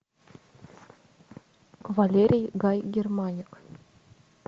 валерий гай германик